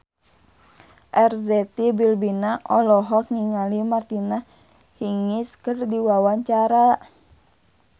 Arzetti Bilbina olohok ningali Martina Hingis keur diwawancara